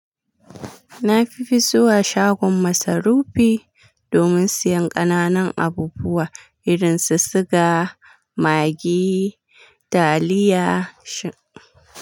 Na fi fa zuwa shagon masarufi domin siyan ƙananan abubuwa irin su siga, Maggi, taliya, shi.